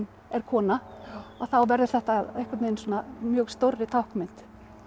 er kona þá verður þetta að einhverri mjög stórri táknmynd